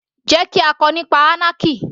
Jẹ́ kí á kọ nípa anarchy